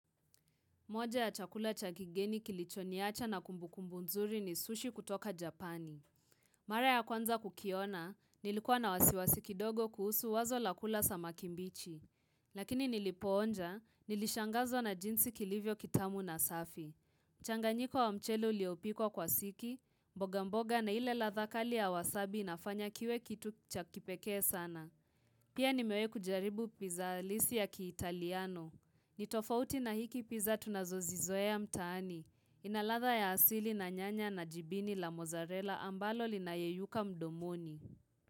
Moja ya chakula cha kigeni kilichoniacha na kumbukumbu nzuri ni sushi kutoka Japani. Mara ya kwanza kukiona, nilikuwa na wasiwasi kidogo kuhusu wazo la kula samaki mbichi. Lakini nilipoonja, nilishangazwa na jinsi kilivyo kitamu na safi. Changanyiko wa mchele uliopikwa kwa siki, mboga mboga na ile ladhaa kali ya wasabi inafanya kiwe kitu cha kipekee sana. Pia nimewahi kujaribu pizza halisi ya kiitaliano. Ni tofauti na hiki pizza tunazozizoea mtaani. Inaladhaa ya asili na nyanya na jibini la mozarela ambalo linayeyuka mdomoni.